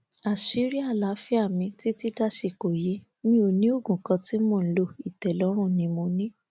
àṣírí àlàáfíà mi títí dàsìkò yìí mi ò ní oògùn kan tí mò ń lo ìtẹlọrùn ni mo ní